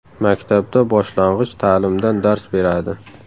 Maktabda boshlang‘ich ta’limdan dars beradi.